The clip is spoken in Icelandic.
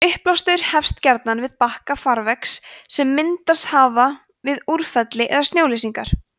uppblástur hefst gjarnan við bakka farvega sem myndast hafa við úrfelli eða snjóleysingar